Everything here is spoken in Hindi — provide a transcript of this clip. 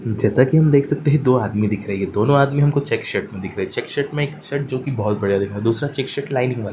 जेसा कि हम देख सकते हैं दो आदमी दिख रही है दोनों आदमी हमको चेक शर्ट में दिख रही है। चेक शर्ट में एक शर्ट जो की बहुत बढियां दीख रहा दूसरा चेक शर्ट लाइनिंग वाला --